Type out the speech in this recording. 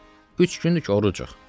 Üç gündür ki, orucuq.